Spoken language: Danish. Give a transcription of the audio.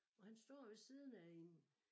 Og han står ved siden af en